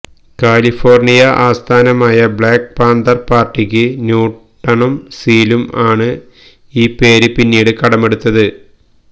California ആസ്ഥാനമായ black panther പാർട്ടിക്ക് ന്യൂടണും സീലും ആണ് ഈ പേര് പിന്നീട് കടമെടുത്തത്